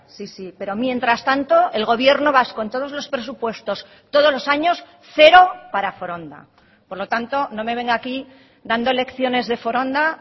sí sí pero mientras tanto el gobierno vasco en todos los presupuestos todos los años cero para foronda por lo tanto no me venga aquí dando lecciones de foronda